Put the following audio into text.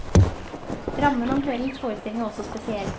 Rammen om kveldens forestilling er også spesiell.